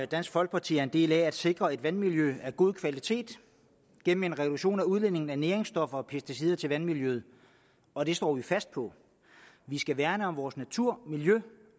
dansk folkeparti er en del af at sikre et vandmiljø af god kvalitet gennem en reduktion af udledningen af næringsstoffer og pesticider til vandmiljøet og det står vi fast på vi skal værne om vores natur miljø